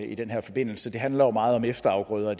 i den her forbindelse det handler jo meget om efterafgrøder